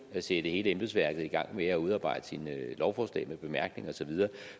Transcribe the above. at sætte hele embedsværket i gang med at udarbejde sine lovforslag med bemærkninger og så videre